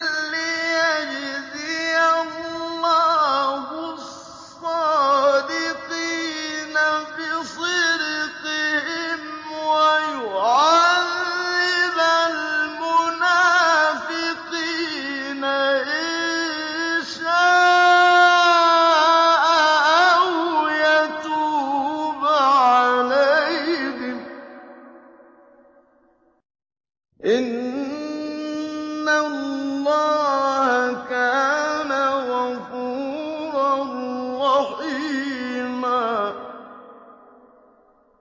لِّيَجْزِيَ اللَّهُ الصَّادِقِينَ بِصِدْقِهِمْ وَيُعَذِّبَ الْمُنَافِقِينَ إِن شَاءَ أَوْ يَتُوبَ عَلَيْهِمْ ۚ إِنَّ اللَّهَ كَانَ غَفُورًا رَّحِيمًا